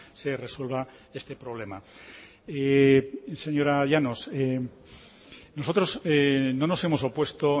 se resuelva este problema señora llanos nosotros no nos hemos opuesto